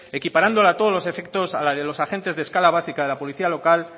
equiparándola a todos los efectos a la de los agentes de escala básica de la policía local